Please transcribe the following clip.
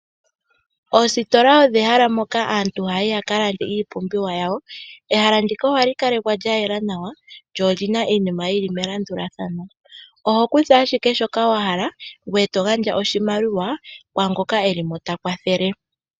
Oositola olyo ehala moka aantu hayayi yakalande iipumbiwa yayo. Ehala ndika ohali kala lyayela nawa lyo olina iinima yili melandulathano. Ohokutha shoka wahala ngoye togandja oshimaliwa kwaangoka eli mo takwathele.